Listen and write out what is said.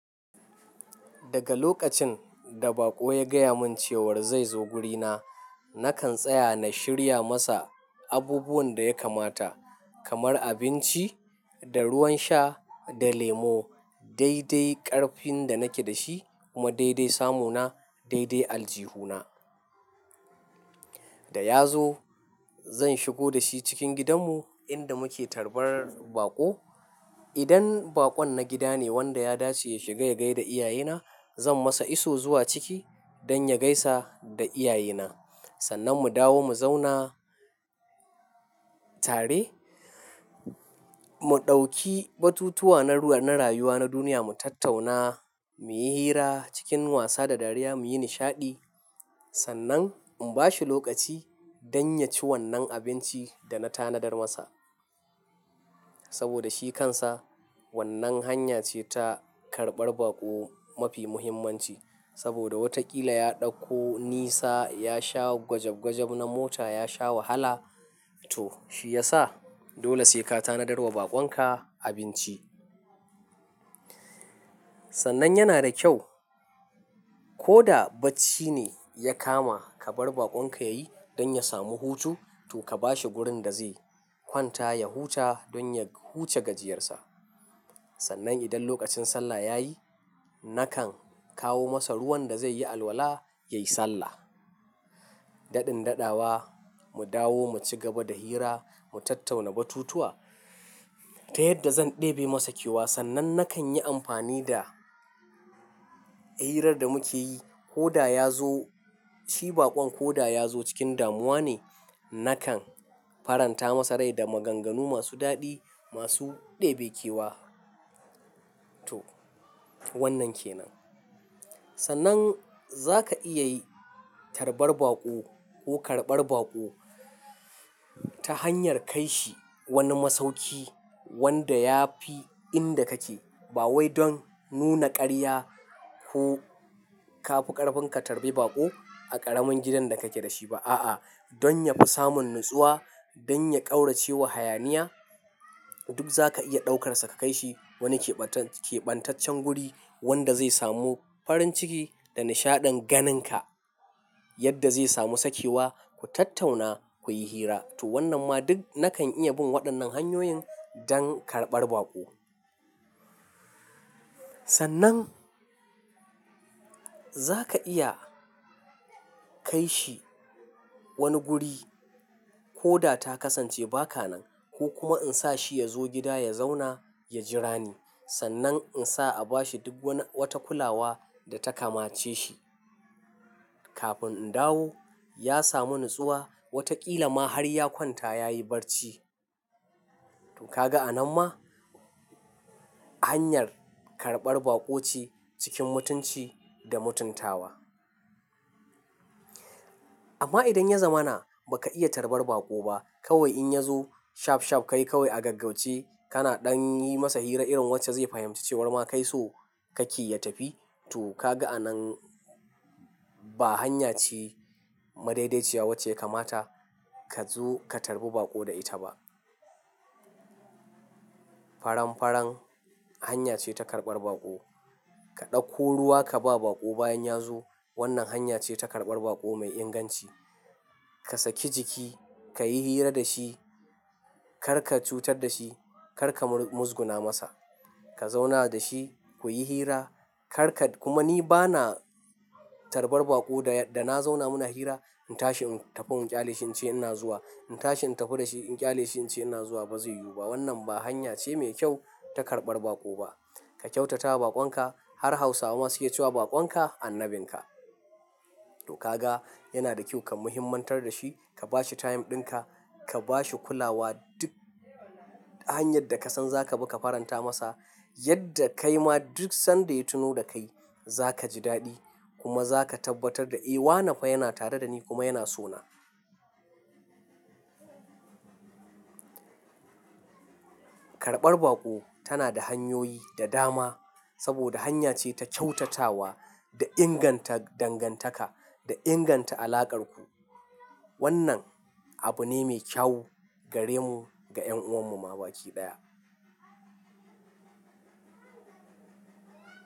Daga lokacin da baƙo ya gaya mun cewar zai zo guri na, nakan tsaya na shirya masa abubuwan da ya kamata kamar abinci da ruwan sha da lemo, daidai ƙarfin da nake da shi kuma daidai samu na, daidai aljihuna. Da ya zo zan shigo da shi cikin gidanmu inda muke karbar baƙo. Idan baƙon na gida ne wanda ya dace ya shiga ya gai da iyaye na, zan masa iso zuwa ciki don ya gaisa da iyaye na. Sannan mu dawo mu zauna tare. Mu ɗauki batutuwa na ruwa-- na rayuwa na duniya mu tattauna, muyi hira cikin wasa da dariya muyi nishaɗi. Sannan in bashi lokaci don ya ci wannan abinci da na tanadar masa. Saboda shi kansa wannan hanya ce ta karɓar baƙo mafi muhimmanci. Saboda wataƙila ya ɗauko nisa, ya sha gwajagwajab na mota, ya sha wahala to shi yasa dole sai ka tanadar wa baƙon ka abinci. Sannan yana da kyau koda bacci ne ya kama ka bar baƙon ka yayi don ya samu hutu to ka bashi wurin da zai kwanta ya huta don ya huce gajiyarsa. Sannan idan lokacin sallah ya yi nakan kawo masa ruwan da zai yi alwala ya yi sallah. Daɗin daɗawa mu dawo mu ci gaba da hira mu tattauna batutuwa. Ta yadda zan ɗebe masa ke wasannan nakan yi amfani da hirar da muke yi koda ya zo, shi baƙon ko da ya zo cikin damuwa ne, nakan faranta masa rai da maganganu masu daɗi masu ɗebekewa. To wannan ke nan. Sannan za ka iya yi tarbar baƙo ko karɓar baƙo ta hanyar kai shi wani masauki wanda ya fi inda kake ba wai don nuna ƙarya ko ka fi ƙarfin ka tarbi baƙo a ƙaramin gidan da kake da shi ba. A'a. Don ya fi samun natsuwa, don ya ƙaurace wa hayaniya. Duk za ka iya ɗaukarsa ka kai shi wani keɓan-keɓantaccen guri wanda zai samu farin ciki da nishaɗin ganin ka yadda zai samu sakewa ku tattauna kuyi hira. To wannan ma duk nakan iya bin waɗannan hanyoyin don karɓar baƙo. Sannan za ka iya kai shi wani guri koda ta kasance ba ka nan ko kuma in sa shi ya zo gida ya zauna ya jira ni. Sannan in sa a bashi duk wani-- wata kulawa da ta kamace shi. Kafin in dawo ya samu natsuwa wataƙila ma har ya kwanta ya yi barci. To ka ga a nan ma hanyar karɓar baƙo ce cikin mutunci da mutuntawa. Amma idan ya zama na ba ka iya tarbar baƙo ba kawai in ya zo shaf shaf ka yi kawai a gaggauce kana ɗan yin masa hira irin wacce zai fahimci cewar ma kai so ka ƙi ya tafi. To ka ga a nan ba hanya ce madaidaiciya wacce kamata ka zo ka tarbi baƙo da ita ba. Faramfaran hanya ce ta karɓar baƙo. Ka ɗauko ruwa ka ba baƙo bayan ya zo wannan hanya ce ta karɓar baƙo mai inganci. Ka saki jiki, ka yi hira da shi, kar ka cutar da shi, kar ka muzguna masa. Ka zauna da shi kuyi hira. Kar ka-- kuma ni bana tarbar baƙo da, da na zauna muna hira in tashi in tafi in ƙyaleshi in ce ina zuwa. In tashi in tafi da shi in ƙyaleshi in ce ina zuwa ba zai yiwu ba. Wannan ba hanya ce mai kyau ta karɓar baƙo ba. Ka kyautata wa baƙon ka har Hausawa masu iya cewa "baƙon ka annabin ka." To ka ga yana da kyau ka muhimantar da shi, ka bashi time ɗin ka, ka bashi kulawa duk hanyar da ka san za ka bi ka faranta masa yadda kai ma duk sanda ya tuno da kai za ka ji daɗi kuma za ka tabbatar da "eh, wanafai yana tare da ni kuma yana so na." Karɓar baƙo tana da hanyoyi da dama saboda hanya ce ta kyautatawa da inganta dangantaka da inganta alaƙar ku. Wannan abu ne mai kyau gare mu ga 'yan'uwan mu baki ɗaya.